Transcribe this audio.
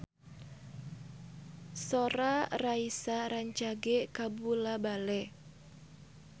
Sora Raisa rancage kabula-bale